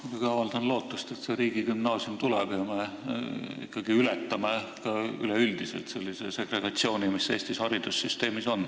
Ma muidugi avaldan lootust, et see riigigümnaasium tuleb ja me üleüldiselt ületame sellise segregatsiooni, mis Eesti haridussüsteemis on.